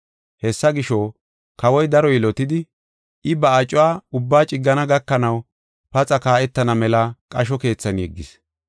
Hessa gisho, kawoy daro yilotidi, I ba acuwa ubbaa ciggana gakanaw paxa kaa7etana mela qasho keethan yeggis.